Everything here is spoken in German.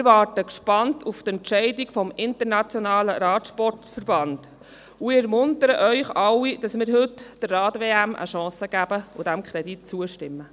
Wir warten gespannt auf die Entscheidung des UCI, und wir ermuntern Sie alle, heute der Rad-WM eine Chance zu geben und diesem Kredit zuzustimmen.